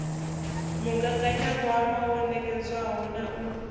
mugaganyagwama wo nekedzwaho na u